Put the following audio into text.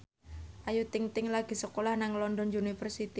Ayu Ting ting lagi sekolah nang London University